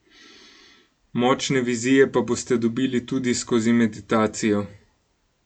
Močne vizije pa boste dobili tudi skozi meditacijo.